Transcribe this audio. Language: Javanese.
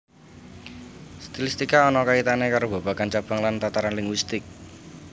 Stilistika ana kaitane karo babagan cabang lan tataran linguistik